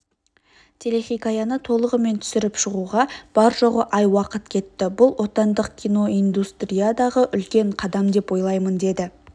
телехикаяны толығымен түсіріп шығуға бар-жоғы ай уақыт кетті бұл отандық киноиндустриядағы үлкен қадам деп ойлаймын деді